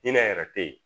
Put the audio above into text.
Hinɛ yɛrɛ te ye